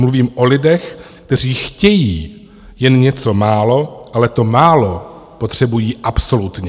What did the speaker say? Mluvím o lidech, kteří chtějí jen něco málo, ale to málo potřebují absolutně.